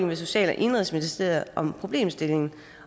med social og indenrigsministeriet om problemstillingen